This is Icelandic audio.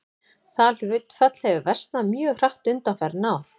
Það hlutfall hefur versnað mjög hratt undanfarin tvö ár.